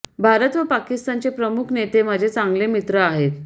भारत व पाकिस्तानचे प्रमुख नेते माझे चांगले मित्र आहेत